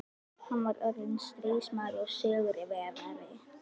Hann var orðinn stríðsmaður og sigurvegari.